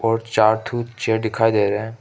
और चार ठो चेयर दिखाई दे रहे हैं।